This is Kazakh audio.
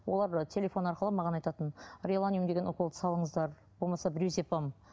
олар телефон арқылы маған айтатын реланиум деген уколды салыңыздар болмаса брюзипам